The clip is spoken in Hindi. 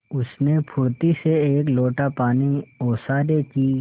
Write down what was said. उसने फुर्ती से एक लोटा पानी ओसारे की